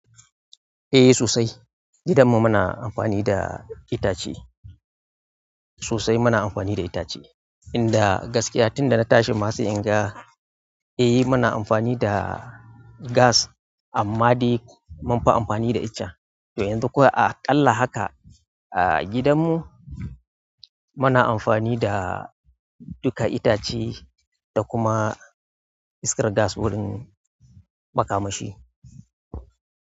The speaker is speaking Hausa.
Eh sosai, gidanmu muna amfani da itace. Sosai muna amfani da itace. Inda gaskiya tun da na tashi ma sai inga, eh muna amfani da gas amma dai munfi amfani da icen to yanzu kuwa aƙalla haka a gidanmu muna amfani da duka itace da kuma iskar gas wurin makamashi.